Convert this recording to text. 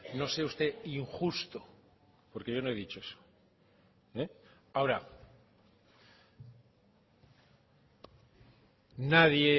no sea usted injusto porque yo no he dicho eso ahora nadie